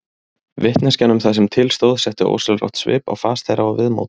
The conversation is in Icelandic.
Vitneskjan um það sem til stóð setti ósjálfrátt svip á fas þeirra og viðmót.